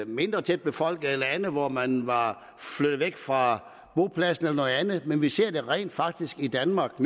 mindre tæt befolkede lande hvor man var flyttet væk fra bopladserne men vi ser det rent faktisk nu i danmark